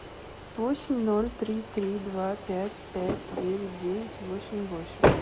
восемь ноль три три два пять пять девять девять восемь восемь